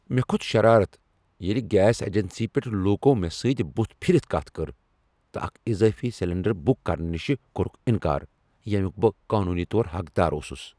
مےٚ کھوٚت شرارت ییٚلہ گیس اجنسی پیٹھ لوکو مےٚ سۭتۍ بتھ پھرتھ کتھ کٔر تہٕ اکھ اضٲفی سلنڈر بک کرنہٕ نش کوٚر نکار ییٚمیک بہٕ قانونی طور حقدار اوسس۔